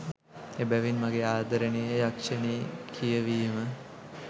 එබැවින් මගේ ආදරණීය යක්ෂණී කියවීම